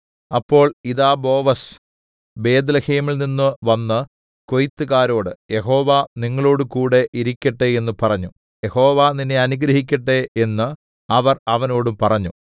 അപ്പോൾ ഇതാ ബോവസ് ബേത്ത്ലേഹേമിൽനിന്നു വന്ന് കൊയ്ത്തുകാരോട് യഹോവ നിങ്ങളോടുകൂടെ ഇരിക്കട്ടെ എന്നു പറഞ്ഞു യഹോവ നിന്നെ അനുഗ്രഹിക്കട്ടെ എന്നു അവർ അവനോടും പറഞ്ഞു